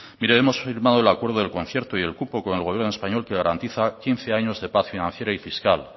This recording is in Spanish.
mire hemos firmado el acuerdo de concierto y el cupo con el gobierno español que garantiza quince años de paz financiera y fiscal